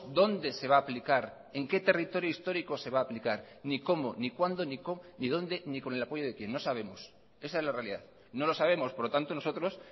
dónde se va a aplicar en qué territorio histórico se va a aplicar ni cómo ni cuándo ni dónde ni con el apoyo de quién no sabemos esa es la realidad no lo sabemos por lo tanto nosotros